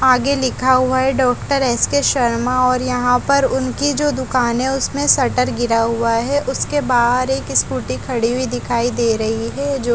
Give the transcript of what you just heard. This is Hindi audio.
आगे लिखा हुआ है डॉक्टर एस_के शर्मा और यहाँ पर उनकी जो दुकान है उसमे शटर गिरा हुआ है उसके बहार एक स्कूटी खड़ी हुई दिखाई दे रही है जो--